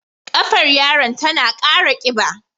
Ƙafar yaron tana kara kiba.